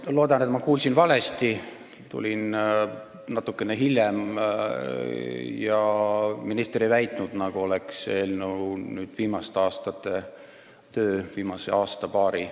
Ma loodan, et ma kuulsin valesti – tulin natukene hiljem – ja minister ei väitnud, et eelnõu on viimase aasta-paari töö.